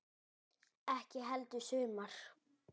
Ekki heldur sumar.